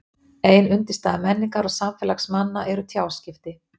ein undirstaða menningar og samfélags manna eru tjáskipti